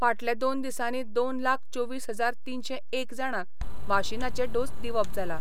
फाटले दोन दिसांनी दोन लाख चोवीस हजार तीनशे एक जाणांक वाशीनाचे डोस दिवप जाला.